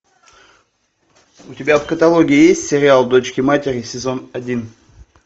у тебя в каталоге есть сериал дочки матери сезон один